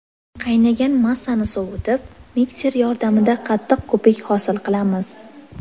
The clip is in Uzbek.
Qaynagan massani sovutib, mikser yordamida qattiq ko‘pik hosil qilamiz.